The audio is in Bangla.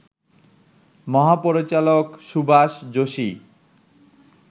মহাপরিচালক সুভাষ যোশী